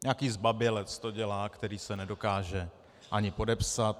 Nějaký zbabělec to dělá, který se nedokáže ani podepsat.